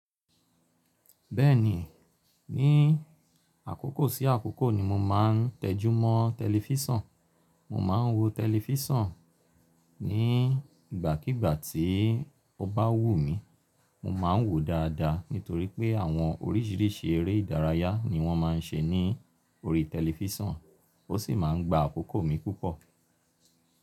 Bẹ́ẹ̀ni, ní àkókò sí àkókò ni mo máa ń tẹjúmọ́ tẹlifísàn. Mo máa ń wo tẹlifísàn ní ìgbàkígbà tí ó bá wù mí. Mo máa ń wòó dáadáa nítorí pé àwọn orísìírísìí eré ìdárayá ni wọ́n má ń ṣe ní orí tẹlifísàn ó sì máa ń gba àkókò mi púpọ̀.